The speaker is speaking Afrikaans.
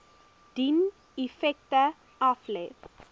dien effekte aflê